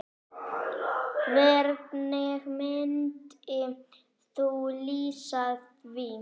Hvernig myndir þú lýsa því?